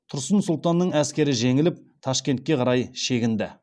тұрсын сұлтанның әскері жеңіліп ташкентке қарай шегінді